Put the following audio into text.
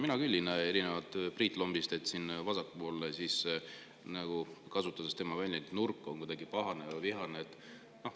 Mina küll ei näe, erinevalt Priit Lombist, et siin vasakpoolne – kasutades tema väljendit – nurk oleks kuidagi pahane või vihane.